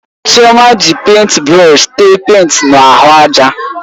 Chioma ji pèịnt brọsh téé pèịnt na ahụ ájà